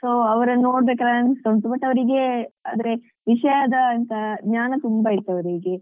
So ಅವರನ್ನು ನೋಡ್ಬೇಕಾದ್ರೆ ಅನಿಸ್ತಾ ಉಂಟು but ಅವ್ರಿಗೆ ಆದ್ರೆ ವಿಷಯಾದ ಎಂತ ಜ್ಞಾನ ತುಂಬ ಇತ್ತು ಅವ್ರಿಗೆ,